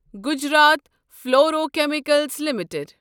Gujarat fluorochemicals limited